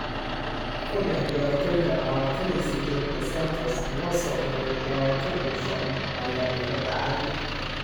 "Ka dhex ciyaartoyda lawatan iyo sideed ee Santos loo soo diray, lawatan iyo shan ayaa iga dhacay."